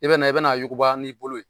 I be na , i be na a wuguba n'i bolo ye.